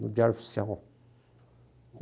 No diário oficial.